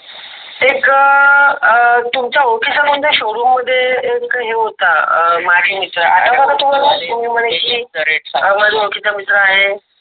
एक अह अं तुमचा ओळखीचा मुलगा शोरूम मध्ये एक हे होता मझा ओळखीचा मित्र आहे.